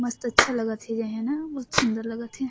मस्त अच्छा लगत हे एजगा ह न मस्त सुंदर लगत हे।